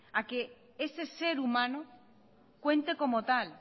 a que ese ser humano cuente como tal